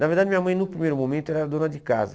Na verdade minha mãe no primeiro momento era dona de casa.